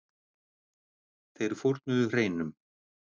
Þeir fórnuðu hreinum.